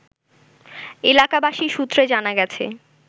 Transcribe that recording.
এলাকাবাসী সূত্রে জানা গেছে